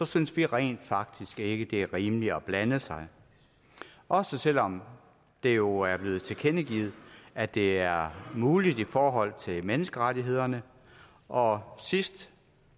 synes vi rent faktisk ikke det er rimeligt at blande sig også selv om det jo er blevet tilkendegivet at det er muligt i forhold til menneskerettighederne og sidst